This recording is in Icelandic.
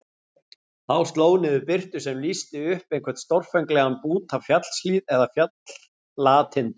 Þá sló niður birtu sem lýsti upp einhvern stórfenglegan bút af fjallshlíð eða fjallatindum.